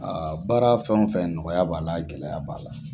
baara fɛn o fɛn nɔgɔya b'a la gɛlɛya b'a la.